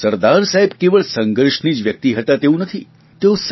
પરંતુ સરદાર સાહેબ કેવલ સંઘર્ષની જ વ્યકિત હતા તેવું નથી